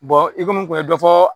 Bɔn i komi n kun ye dɔ fɔ